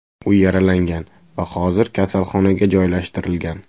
U yaralangan va hozir kasalxonaga joylashtirilgan.